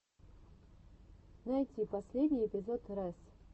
найти последний эпизод рэс